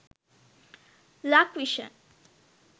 lakvision